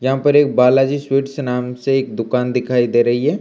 यहां पर एक बालाजी स्वीट्स नाम से एक दुकान दिखाई दे रही हैं।